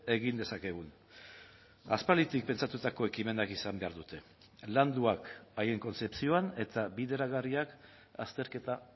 egin dezakegun aspalditik pentsatutako ekimenak izan behar dute landuak haien kontzepzioan eta bideragarriak azterketa